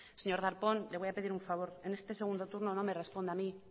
señor darpón le voy a pedir un favor en este segundo turno no me responda a mí